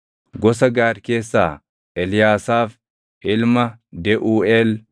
gosa Gaad keessaa Eliyaasaaf ilma Deʼuuʼeel;